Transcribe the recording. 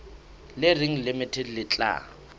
le reng limited le tla